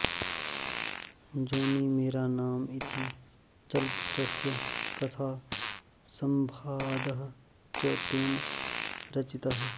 जोनी मेरा नाम इति चलचित्रस्य कथा संवादः च तेन रचितः